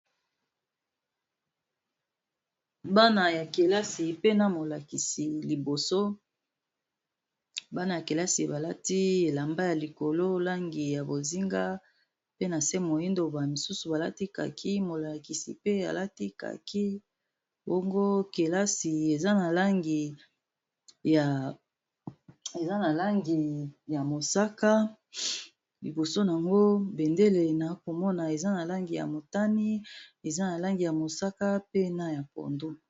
Bana ya kelasi pena molakisi liboso bana ya kelasi balati elamba ya likolo langi ya bozinga, pe na se moindo ba misusu balatikaki molakisi pe alatikaki bango kelasi eza na langiymosaka, liboso n yango bendele na komona eza na langi ya motani, eza na langi ya mosaka pe na ya pondo.